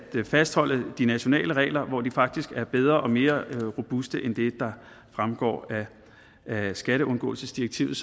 fastholde de nationale regler hvor de faktisk er bedre og mere robuste end det der fremgår af skatteundgåelsesdirektivet